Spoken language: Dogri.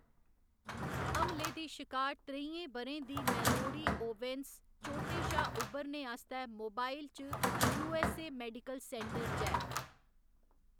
हमले दी शिकार त्रेइयें ब'रें दी मैलोरी ओवेन्स चोटें शा उबरने आस्तै मोबाइल च U. S. A. Medical Center च ऐ।